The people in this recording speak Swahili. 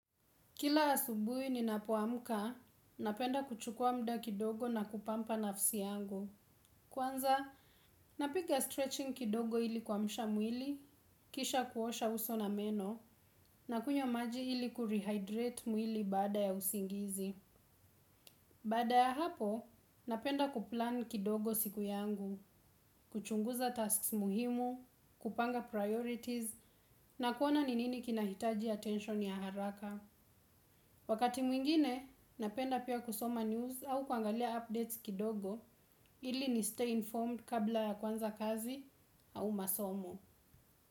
Kila asubuhi ninapoamka, napenda kuchukua muda kidogo na kupamper nafsi yangu. Kwanza, napiga stretching kidogo ili kwa kumsha mwili, kisha kuosha uso na meno, na kunywa maji ili kurehydrate mwili baada ya usingizi. Baada ya hapo napenda kuplan kidogo siku yangu kuchunguza tasks muhimu kupanga priorities na kuona ni nini kinahitaji attention ya haraka wakati mwingine napenda pia kusoma news au kuangalia updates kidogo ili ni stay informed kabla ya kuanza kazi au masomo.